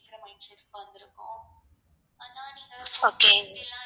okay